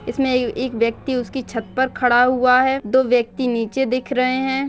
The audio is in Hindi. इसमें ए एक व्यक्ति उसकी छत पर खड़ा हुआ है। दो व्यक्ति नीचे दिख रहे हैं।